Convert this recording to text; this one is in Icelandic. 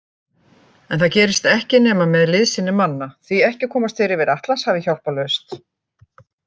En það gerist ekki nema með liðsinni manna, því ekki komast þeir yfir Atlantshafið hjálparlaust.